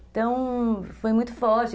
Então, foi muito forte.